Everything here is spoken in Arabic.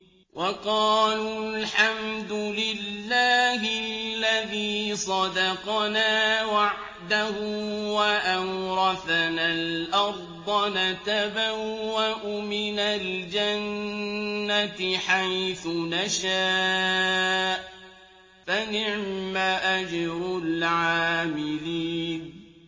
وَقَالُوا الْحَمْدُ لِلَّهِ الَّذِي صَدَقَنَا وَعْدَهُ وَأَوْرَثَنَا الْأَرْضَ نَتَبَوَّأُ مِنَ الْجَنَّةِ حَيْثُ نَشَاءُ ۖ فَنِعْمَ أَجْرُ الْعَامِلِينَ